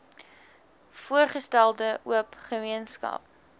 voorgestelde oop gemeenskap